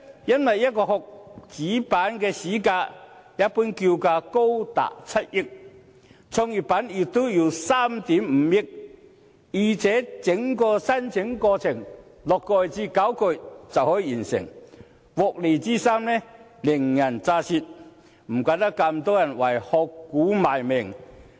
因為一個殼，主板市價一般叫價高達7億元，創業板也要3億 5,000 萬元，再者，整個申請過程只需6個月至9個月便可完成，獲利之深，令人咋舌，難怪這麼多人為"殼股"賣命。